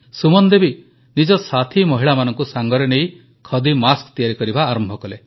ସୁମନ ଦେବୀ ନିଜ ସାଥୀ ମହିଳାମାନଙ୍କୁ ସାଙ୍ଗରେ ନେଇ ଖଦୀ ମାସ୍କ ତିଆରି କରିବା ଆରମ୍ଭ କଲେ